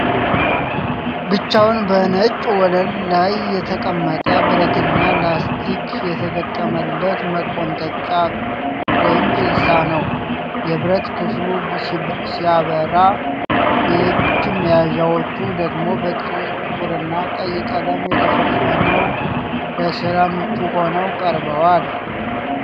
ብቻውን በነጭ ወለል ላይ የተቀመጠ ብረትና ላስቲክ የተገጠመለት መቆንጠጫ (ፒንሳ) ነው። የብረት ክፍሉ ሲያበራ፣ የእጅ መያዣዎቹ ደግሞ በጥቁርና ቀይ ቀለም ተሸፍነው ለስራ ምቹ ሆነው ቀርበዋል።